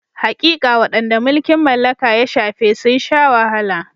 Haƙiƙa, waɗanda mulkin mallaka ya shafe sun sha wahala.